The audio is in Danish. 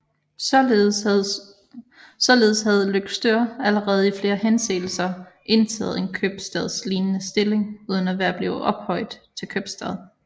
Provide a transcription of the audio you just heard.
Således havde Løgstør allerede i flere henseender indtaget en købstadslignende stilling uden at være blevet ophøjet til købstad